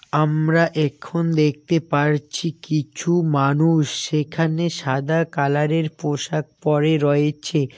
আমরা এখন দেখতে পারছি কিছু মানুষ সেখানে সাদা কালারের পোশাক পড়ে রয়েছে।